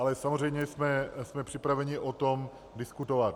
Ale samozřejmě jsme připraveni o tom diskutovat.